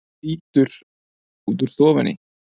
og þýtur út úr stofunni.